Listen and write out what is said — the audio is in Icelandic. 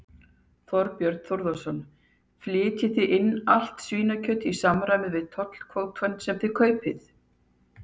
Þorbjörn Þórðarson: Flytjið þið inn allt svínakjöt í samræmi við tollkvótann sem þið kaupið?